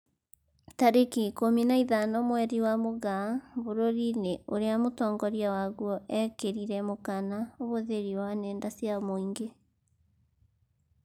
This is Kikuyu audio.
Tarĩki ikũmi na ithano mweri wa Mũgaa , bũrũri-inĩ ũrĩa mũtongoria waguo ekĩrirĩre mũkana ũhũthĩri wa nenda cia mũingĩ